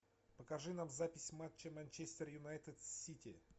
покажи нам запись матча манчестер юнайтед с сити